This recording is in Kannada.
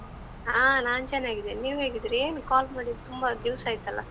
ಹಾ, ನಾನ್ ಚನ್ನಾಗಿದ್ದೇನೆ, ನೀವ್ ಹೇಗಿದಿರಿ? ಏನ್ call ಮಾಡಿ ತುಂಬಾ ದಿವ್ಸ ಆಯ್ತಲ್ಲ?